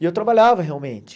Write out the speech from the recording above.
E eu trabalhava, realmente.